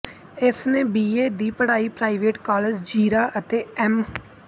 ਇਸਨੇ B A ਦੀ ਪੜ੍ਹਾਈ ਪ੍ਰਾਈਵੇਟ ਕਾਲਜ ਜ਼ੀਰਾ ਅਤੇ ਅੇੱਮ